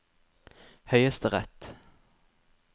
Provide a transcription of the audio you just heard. høyesterett